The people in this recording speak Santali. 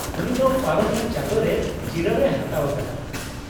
-ᱩᱱᱤ ᱫᱚ ᱯᱟᱨᱚᱢᱮᱱ ᱪᱟᱸᱫᱳᱨᱮ ᱡᱤᱨᱟᱹᱣ ᱮ ᱦᱟᱛᱟᱣ ᱟᱠᱟᱫᱟ ᱾